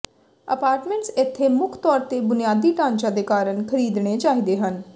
apartments ਇੱਥੇ ਮੁੱਖ ਤੌਰ ਤੇ ਬੁਨਿਆਦੀ ਢਾਂਚਾ ਦੇ ਕਾਰਨ ਖਰੀਦਣੇ ਚਾਹੀਦੇ ਹਨ